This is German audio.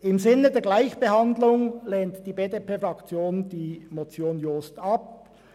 Im Sinne der Gleichbehandlung lehnt die BDP-Fraktion die Motion Jost ab.